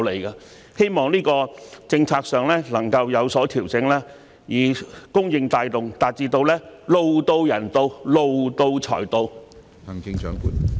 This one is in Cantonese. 我希望政策上能有所調整，改以供應帶動，從而達致"路到人到，路到財到"。